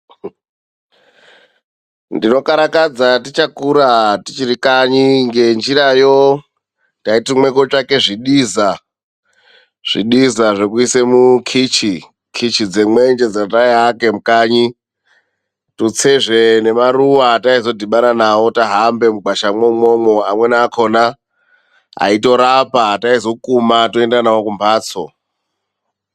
Ndinokarakadza tichakura tichiri kanyi ngenjirayo, taitumwe kootsvaka zvidiza. Zvidiza zvekuisa mukichi, kichi dzemwenje dzetai aka mukanyi. Tutsezve nemaruwa etaizodhibana nawo tahamba mugwasha mwo umwomwo amweni akhona aitorapa, etaizokuma toenda nawo kumhatso.